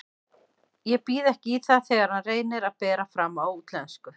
Ég býð ekki í það þegar hann reynir að bera fram á útlensku.